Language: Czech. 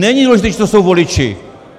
Není důležité, čí jsou to voliči!